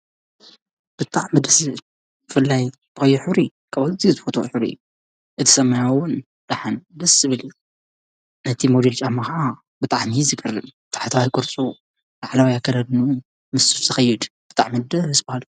ብጥዕ ምድሥድ ፍላይ በይኁሪ ካብዘይ ትፈት ሑሪ እቲሰማያውን ደኃን ደስ ስብል ነቲ ሞዲል ጫመኸዓ ብጥዓን ዝከርን ተሕትዋ ኣይጐርሶ ኣዕለውያከለድኑ ምስሱ ዘኸይድ ብጥዕ ምድ እስበሃል።